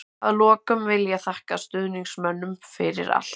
Að lokum vil ég þakka stuðningsmönnum fyrir allt.